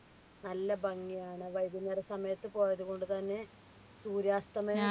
നല്ല ഭംഗിയാണ് വൈകുന്നേരം സമയത്ത് പോയതുകൊണ്ട് തന്നെ സൂര്യാസ്തമയം